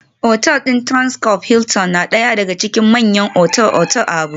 Otal din Transcorp Hilton na daya daga cikin manyan otal-otal a Abuja